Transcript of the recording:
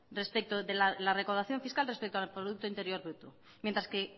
de la recaudación fiscal respecto al producto interior bruto mientras que